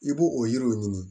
I b'o o yiriw ɲini